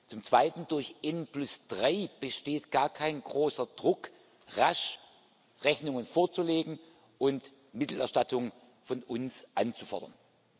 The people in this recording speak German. Zum Zweiten Durch N3 besteht gar kein großer Druck, rasch Rechnungen vorzulegen und Mittelerstattungen von uns anzufordern.